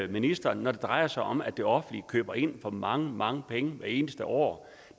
ministeren når det drejer sig om at det offentlige køber ind for mange mange penge hver eneste år